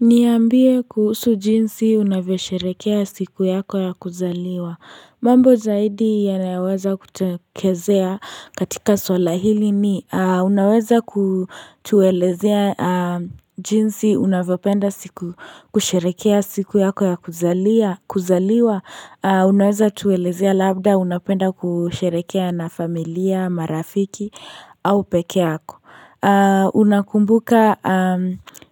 Niambia kuhusu jinsi unavyosherekea siku yako ya kuzaliwa mambo zaidi yanayoweza kutokezea katika swala hili ni unaweza kutuelezea jinsi unavyopenda kusherekea siku yako ya kuzaliwa Unaweza tuelezea labda unapenda kusherekea na familia marafiki au peke yako Unakumbuka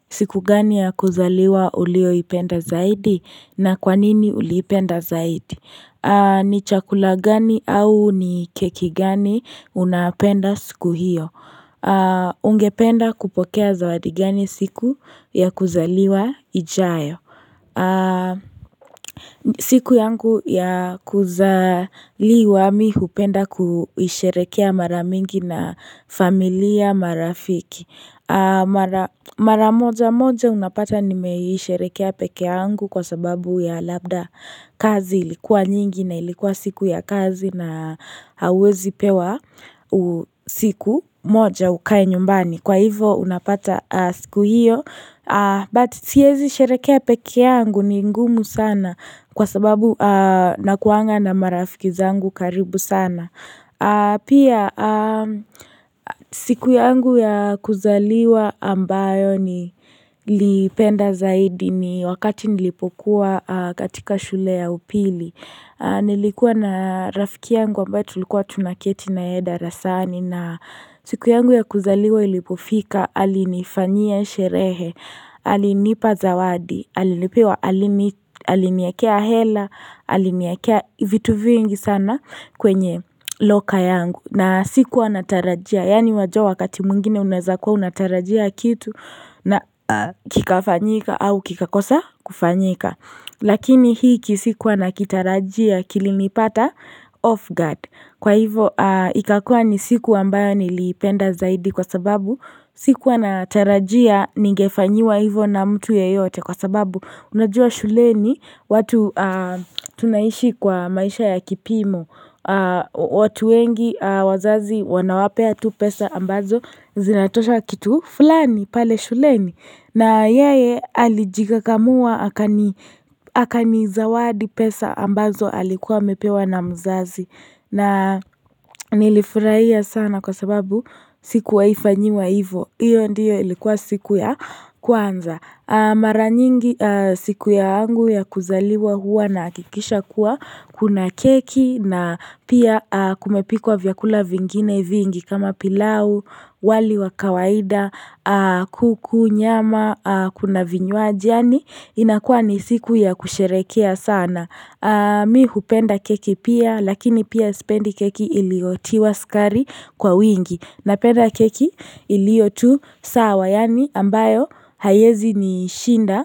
siku gani ya kuzaliwa uliyoipenda zaidi na kwanini uliipenda zaidi? Ni chakula gani au ni keki gani unapenda siku hiyo Ungependa kupokea zawadi gani siku ya kuzaliwa ijayo siku yangu ya kuzaliwa mimi hupenda kuisherekea mara mingi na familia marafiki Mara mojamoja unapata nimeisherekea peke yangu kwa sababu ya labda kazi ilikuwa nyingi na ilikuwa siku ya kazi na hauwezipewa siku moja ukae nyumbani. Kwa hivo unapata siku hiyo but siezi sherekea peke yangu ni ngumu sana kwasababu nakuaga na marafiki zangu karibu sana Pia siku yangu ya kuzaliwa ambayo nilipenda zaidi ni wakati nilipokuwa katika shule ya upili Nilikuwa na rafiki yangu ambaye tulikuwa tunaketi naye darasani na siku yangu ya kuzaliwa ilipofika alinifanyia sherehe alinipa zawadi, alinipewa, aliniwekea hela, aliniwekea vitu vingi sana kwenye loka yangu. Na sikuwanatarajia, yaani wajua wakati mwingine unaweza kuwa unatarajia kitu na kikafanyika au kikakosa kufanyika lakini hiki sikuwa nakitarajia kilinipata off guard. Kwa hivo ikakua ni siku ambayo niliipenda zaidi kwasababu sikuwa natarajia ningefanyiwa hivo na mtu yeyote kwasababu unajua shuleni watu tunaishi kwa maisha ya kipimo watu wengi wazazi wanawapea tu pesa ambazo zinatosha kitu fulani pale shuleni na yeye alijikakamua akanizawadi pesa ambazo alikuwa amepewa na mzazi na nilifurahia sana kwasababu sikuwahi fanyiwa hivo, hiyo ndiyo ilikuwa siku ya kwanza. Mara nyingi siku yangu ya kuzaliwa huwa nahakikisha kuwa kuna keki na pia kumepikwa vyakula vingine vingi kama pilau, wali wa kawaida, kuku, nyama, kuna vinywaji yaani inakuwa ni siku ya kusherekea sana Mi hupenda keki pia lakini pia sipendi keki iliyotiwa sukari kwa wingi. Napenda keki iliyotusawa yaani ambayo haiezi nishinda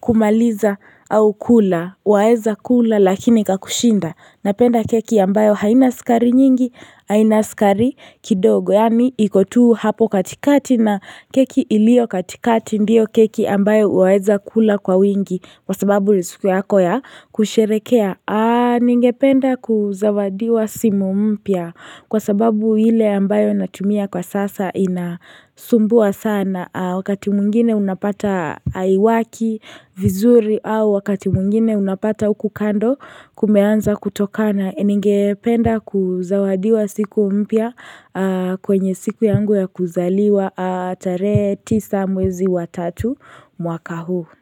kumaliza au kula waeza kula lakini ikakushinda. Napenda keki ambayo haina sukari nyingi haina sukari kidogo. Yaani iko tu hapo katikati na keki iliyo katikati ndio keki ambayo waweza kula kwa wingi. Kwa sababu ni siku yako ya kusherekea. Ningependa kuzawadiwa simu mpya. Kwa sababu ile ambayo natumia kwa sasa inasumbua sana. A, wakati mwingine unapata haiwaki vizuri au wakati mwingine unapata huku kando kumeanza kutokana Ningependa kuzawadiwa siku mpya kwenye siku yangu ya kuzaliwa tarehe tisa mwezi wa tatu mwaka huu.